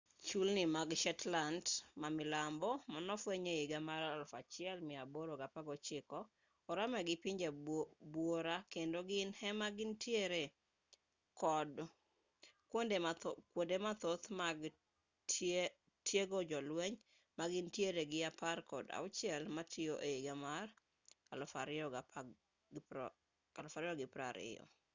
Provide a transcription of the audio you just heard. chulni mag shetland ma milambo manofweny e higa mar 1819 oramee gi pinje buora kendo gin ema gintiere kod kwonde mathoth mag tiego jolweny ka gintiere gi apar kod auchiel matiyo e higa mar 2020